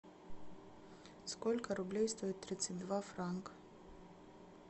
сколько рублей стоят тридцать два франка